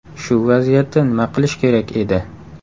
Shu vaziyatda nima qilish kerak edi?